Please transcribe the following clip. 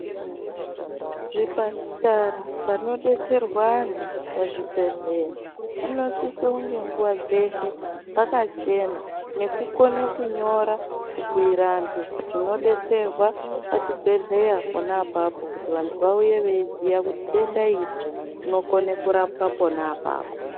Zvipatara, panodetserwa antu pachibhedhlera, panosise kunge nguva dzeshe pakachena nekukone kunyora, kubhuyire vantu zvinodetserwa pachibhedhlera pona apapo kuti vantu vauye veiziya kuti denda iri rinokone kurapwa pona apapo.